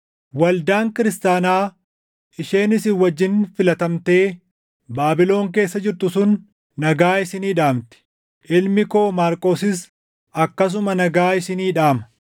Waldaan kiristaanaa isheen isin wajjin filatamtee Baabilon keessa jirtu sun nagaa isinii dhaamti; ilmi koo Maarqosis akkasuma nagaa isinii dhaama.